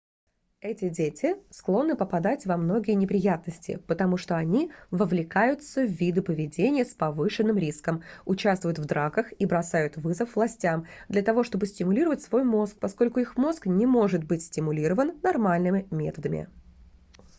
эти дети склонны попадать во многие неприятности потому что они вовлекаются в виды поведения с повышенным риском участвуют в драках и бросают вызов властям для того чтобы стимулировать свой мозг поскольку их мозг не может быть стимулирован нормальными методами